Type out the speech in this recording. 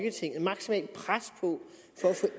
få